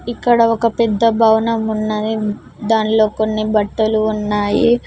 ఇక్కడ ఒక పెద్ద భవనం ఉన్నది దానిలో కొన్ని బట్టలు ఉన్నాయి.